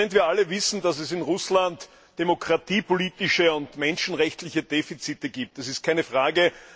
Wir alle wissen, dass es in Russland demokratiepolitische und menschenrechtliche Defizite gibt. Das ist keine Frage.